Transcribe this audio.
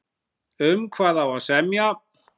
Um hvað á að semja?